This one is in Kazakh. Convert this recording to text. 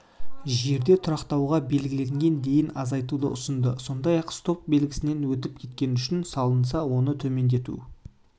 жерде тұрақтауға белгіленген дейін азайтуды ұсынды сондай-ақ стоп белгісінен өтіп кеткені үшін салынса оны төмендету